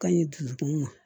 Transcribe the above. Ka ɲi dusukun ma